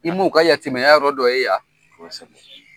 I m'u ka yatimaya yɔrɔ dɔ ye yan. Kosɛbɛ.